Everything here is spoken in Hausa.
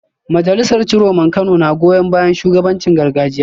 Majalisar Ciroman Kano na goyon bayan shugabancin gargajiya